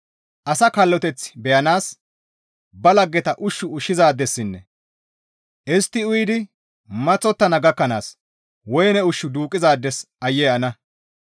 «Asa kalloteth beyanaas ba laggeta ushshu ushshizaadessinne istti uyidi maththottana gakkanaas woyne ushshu duuqqizaades aayye ana!